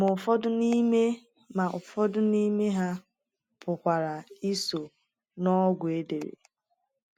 Ma ụfọdụ n’ime Ma ụfọdụ n’ime ha pụkwara iso n’ogwụ edere.